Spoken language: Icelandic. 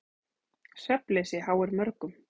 Svefnleysi háir mörgum.